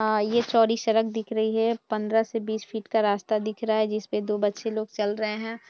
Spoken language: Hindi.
ये चौड़ी सड़क दिख रही है पंद्रह से बीस फीट का रास्ता दिख रहा है जिसपर दो बच्चे लोग चल रहे हैं।